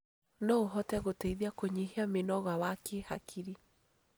No ũhote gũteithia kũnyihia mĩnoga wa kĩhakiri.